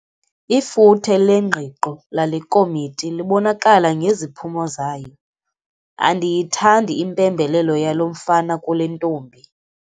Ifuthe lengqiqo lale komiti libonakala ngeziphumo zayo. Andiyithandi impembelelo yalo mfana kule ntombi.